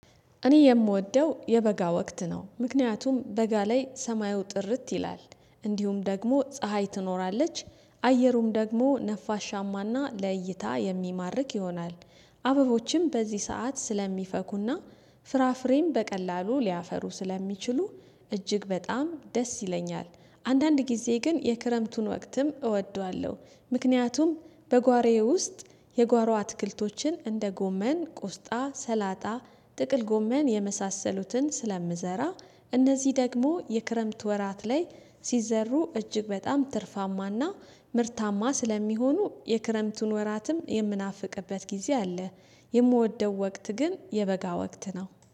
እኔ የምወደው የበጋ ወቅት ነው ምክንያቱም በጋ ላይ ሰማዩ ጥርት ይላል እንዲሁም ደግሞ ፀሀይ ትኖራለች አየሩም ደግሞ ነፋሻማና ለይታ የሚማርክ ይሆናል። አበቦችም በዚህ ሰዓት ስለሚፈኩና ፍራፍሬም በቀላሉ ሊያፈሩ ስለሚችሉ እጅግ በጣም ደስ ይለኛል። አንዳንድ ጊዜ ግን የክረምቱን ወቅትም እወደዋለሁ ምክንያቱም በጓሮየ ውስጥ የጓሮ አትክልቶችን እንደ ጎመን ቆስጣ ሰላጣ ጥቅል ጎመን የመሳሰሉትን ስለምዘራ እነዚህ ደግሞ የክረምት ወራት ላይ ሲዘሩ እጅግ በጣም ትርፋማና ምርታማ ስለሚሆኑ የክረምቱን ወራትም የምናፍቅበት ጊዜ አለ። የምወደው ወቅት ግን የበጋ ወቅት ነው